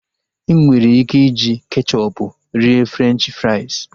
Enwere ike iji kechọpu rie Frenchi frais